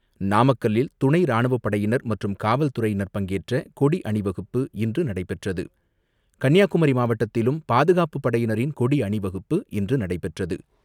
நாமக்கல்லில் துணைராணுவப் படையினர் மற்றும் காவல்துறையினர் பங்கேற்ற கொடி அணிவகுப்பு இன்று நடைபெற்றது. கன்னியாகுமரி மாவட்டத்திலும் பாதுகாப்புப் படையினரின் கொடி அணிவகுப்பு இன்று நடைபெற்றது.